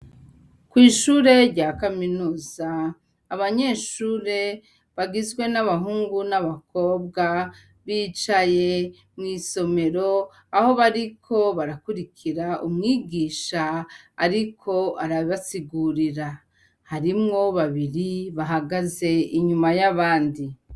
Kw' ishure rya kaminuza abanyeshure bagizwe n'abahungu n'abakobwa bicaye mw' isomero, aho bariko barakurikira umwigisha ariko arabasigurira; harimwo babiri bahagaze inyuma y'abandi.